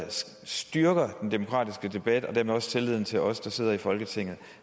styrker den demokratiske debat og dermed også tilliden til os der sidder i folketinget